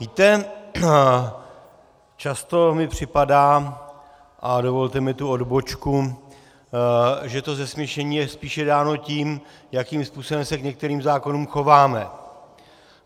Víte, často mi připadá, a dovolte mi tu odbočku, že to zesměšnění je spíše dáno tím, jakým způsobem se k některým zákonům chováme.